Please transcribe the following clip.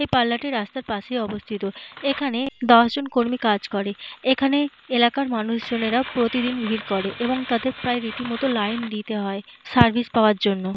এই পার্লর টি রাস্তার পাশে অবস্থিত। এখানে দশজন কর্মী কাজ করে। এখানে এলাকার মানুষজনের প্রতিদিন ভিড় করে এবং তাদের রীতিমতো লাইন দিতে হয় সার্ভিস পাওয়ার জন্য।